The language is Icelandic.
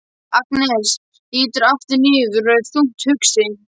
Agnes lítur aftur niður og er þungt hugsi.